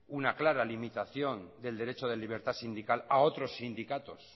una clara delimitación del derecho de libertad sindical a otros sindicatos